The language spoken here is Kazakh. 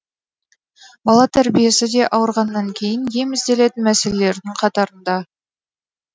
бала тәрбиесі де ауырғаннан кейін ем ізделетін мәселелердің қатарында